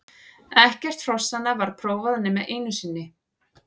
Ekkert hrossanna var prófað nema einu sinni.